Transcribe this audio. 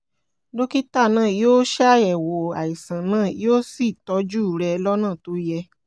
dókítà náà yóò ṣàyẹ̀wò àìsàn náà yóò sì tọ́jú rẹ̀ lọ́nà tó yẹ